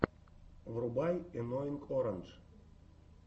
врубай энноинг орандж